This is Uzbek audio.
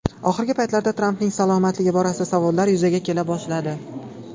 Oxirgi paytlarda Trampning salomatligi borasida savollar yuzaga kela boshladi.